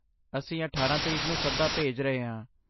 ਅਸੀਂ ਅਠਾਰਾਂ ਤਰੀਕ ਨੂੰ ਸੱਦਾ ਭੇਜ ਰਹੇ ਹਾਂ